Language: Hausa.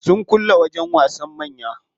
Sun kulle wajen wasan manya.